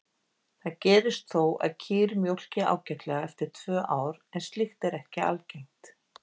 Það gerist þó að kýr mjólki ágætlega eftir tvö ár en slíkt er ekki algengt.